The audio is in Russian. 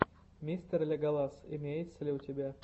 мистер леголас имеется ли у тебя